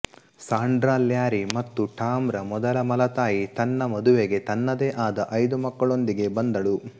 Sandra Larry ಮತ್ತು Tom ರ ಮೊದಲ ಮಲತಾಯಿ ತನ್ನ ಮದುವೆಗೆ ತನ್ನದೇ ಆದ ಐದು ಮಕ್ಕಳೊಂದಿಗೆ ಬಂದಳು